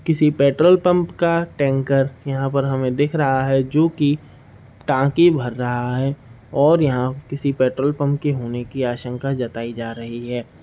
किसी petrol pump का tanker यहां पर हमे दिख रहा है जो कि टाकी भर रहा है और यहाँ किसी पेट्रोल पंप के होने की आशंका जताई जा रही है।